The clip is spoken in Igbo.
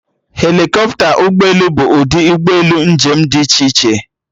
Helikọpta na ụgbọelu bụ ụdị ụgbọelu njem dị iche iche